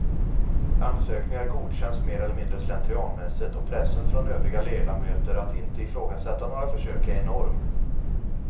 Ansökningar godkänns mer eller mindre slentrianmässigt och pressen från övriga ledamöter att inte ifrågasätta några försök är enorm.